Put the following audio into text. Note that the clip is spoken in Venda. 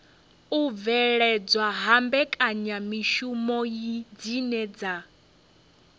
u bveledzwa ha mbekanyamishumo dzine